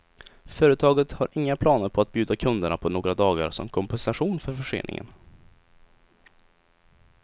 Företaget har inga planer på att bjuda kunderna på några dagar som kompensation för förseningen.